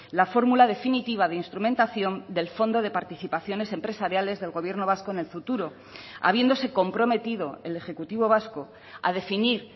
la fórmula definitiva de instrumentación del fondo de participaciones empresariales del gobierno vasco en el futuro habiéndose comprometido el ejecutivo vasco a definir